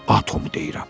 Atomu deyirəm.